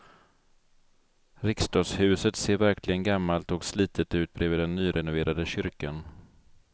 Riksdagshuset ser verkligen gammalt och slitet ut bredvid den nyrenoverade kyrkan.